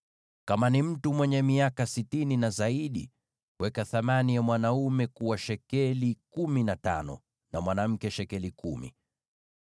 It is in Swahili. Kama ni mtu mwenye miaka sitini na zaidi, weka thamani ya mwanaume kuwa shekeli kumi na tano, na mwanamke shekeli kumi.